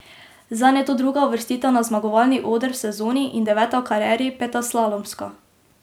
Zanj je to druga uvrstitev na zmagovalni oder v sezoni in deveta v karieri, peta slalomska.